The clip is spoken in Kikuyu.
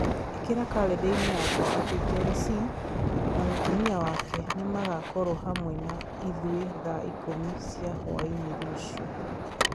ĩkĩra kalendarĩ-inĩ yakwa atĩ John C. na mũtumia wake nĩ makoragwo hamwe na ithuĩ thaa ikũmi cia hwaĩ-inĩ rũciũ.